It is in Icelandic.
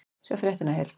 Sjá fréttina í heild